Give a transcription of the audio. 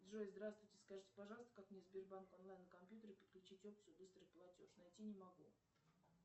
джой здравствуйте скажите пожалуйста как мне сбербанк онлайн на компьютере подключить опцию быстрый платеж найти не могу